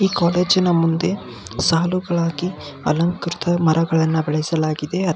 ಈ ಕಾಲೇಜಿನ ಮುಂದೆ ಸಾಲುಗಳಾಗಿ ಅಲಂಕೃತ ಮರಗಳನ್ನು ಬಳಸಲಾ ಗಿದೆ ಅದಕ್ --